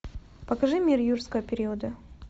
покажи мир юрского периода